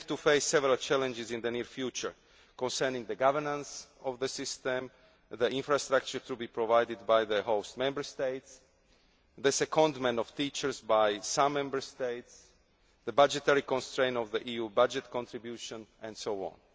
time. We have to face several challenges in the near future concerning the governance of the system, the infrastructure to be provided by the host Member States, the secondment of teachers by some Member States, the budgetary constraint of the EU budget contribution, and